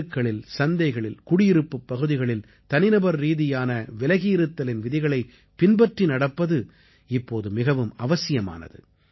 தெருக்களில் சந்தைகளில் குடியிருப்புப் பகுதிகளில் தனி நபர் ரீதியான விலகியிருத்தலின் விதிகளைப் பின்பற்றி நடப்பது இப்போது மிகவும் அவசியமானது